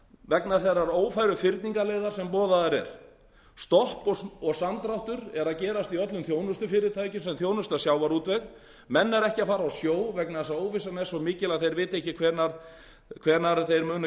vegna þeirrar ófæru fyrningarleiðar sem boðuð er stolt og samdráttur er að gerast í öllum þjónustufyrirtækjum sem þjónusta sjávarútveg menn eru ekki að fara á sjó vegna þess að óvissan er svo mikil að þeir vita ekki hvenær þeir munu